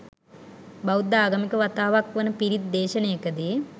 බෞද්ධ ආගමික වතාවතක් වන පිරිත් දේශනයකදී